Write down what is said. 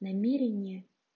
намерение